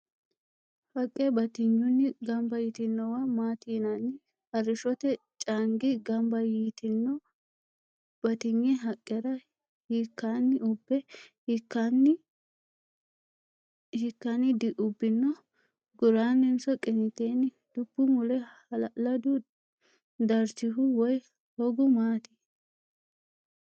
Haqqe batinyunni gamba yitinowa maati yinanni? Arrishote caangi gamba yitino batinye haqqera hiikkaanni ubbe hiikkaanni diubbino? guraanninso qiniiteenni? Dubbu mule hala'ladu darchihu woy hogihu maati?